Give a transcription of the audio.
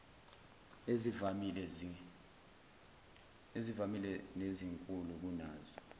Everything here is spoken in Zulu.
ezivamile nezinkulu kunazo